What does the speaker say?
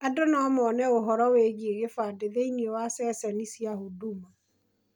Andũ no mone ũhoro wĩgiĩ kĩbandĩ thĩiniĩ wa ceceni cia huduma.